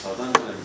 Hardan götürmüşdün?